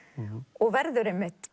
og verður einmitt